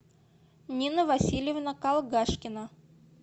нина васильевна калгашкина